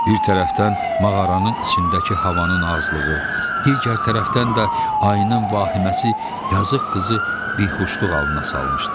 Bir tərəfdən mağaranın içindəki havanın azlığı, digər tərəfdən də ayının vahiməsi yazıq qızı bixuşluq halına salmışdı.